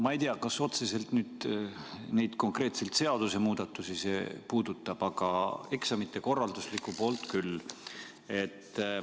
Ma ei tea, kas see otseselt konkreetselt neid seadusemuudatusi puudutab, aga eksamite korralduslikku poolt küll.